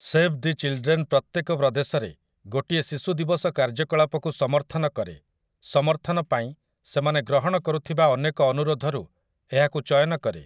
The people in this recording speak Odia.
ସେଭ୍ ଦି ଚିଲ୍ଡ୍ରେନ୍ ପ୍ରତ୍ୟେକ ପ୍ରଦେଶରେ ଗୋଟିଏ ଶିଶୁ ଦିବସ କାର୍ଯ୍ୟକଳାପକୁ ସମର୍ଥନ କରେ, ସମର୍ଥନ ପାଇଁ ସେମାନେ ଗ୍ରହଣ କରୁଥିବା ଅନେକ ଅନୁରୋଧରୁ ଏହାକୁ ଚୟନ କରେ ।